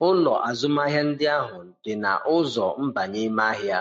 Ụlọ azụmahịa ndị ahụ dị na ụzọ mbanye ime ahịa.